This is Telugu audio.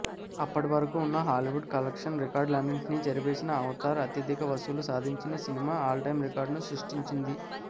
అప్పటి వరకు ఉన్న హాలీవుడ్ కలెక్షన్ రికార్డులన్నింటినీ చెరిపేసిన అవతార్ అత్యధిక వసూళ్లు సాధించిన సినిమా ఆల్టైం రికార్డ్ను సృష్టించింది